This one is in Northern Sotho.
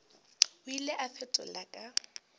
o ile a fetola ka